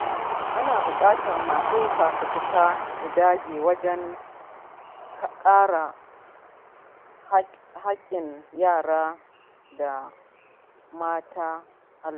Ana bukatar masu fafutuka su dage wajen kare haƙƙin yara da mata a al’umma.